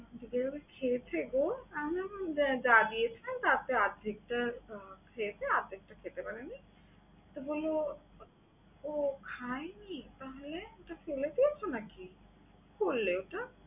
ছেলে আমার খেয়েছে গো? আমি বললাম যা দিয়ে খায়, তার থেকে অর্ধেকটা খেয়েছে অর্ধেকটা খেতে পারে নি। তো বলল ও খায়নি? তাহলে? ওটা ফেলে দিয়েছো নাকি? কি করলে ওটা?